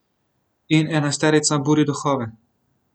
In enajsterica buri duhove.